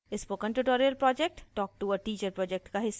spoken tutorial project talk to a teacher project का हिस्सा है